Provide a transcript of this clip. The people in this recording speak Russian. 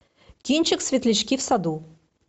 кинчик светлячки в саду